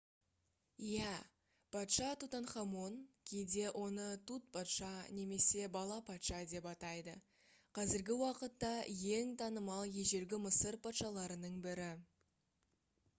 иә! патша тутанхамон кейде оны тут патша немесе бала-патша деп атайды қазіргі уақытта ең танымал ежелгі мысыр патшаларының бірі